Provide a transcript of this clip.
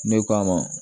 Ne k'a ma